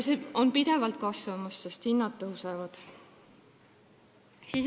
See summa on pidevalt kasvamas, sest hinnad tõusevad.